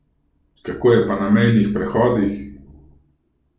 Kako je pa na mejnih prehodih?